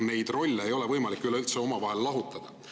Neid rolle ei ole üleüldse võimalik lahutada.